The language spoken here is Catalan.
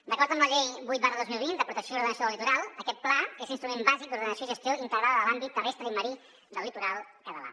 d’acord amb la llei vuit dos mil vint de protecció i ordenació del litoral aquest pla és l’instrument bàsic d’ordenació i gestió integrada de l’àmbit terrestre i marí del litoral català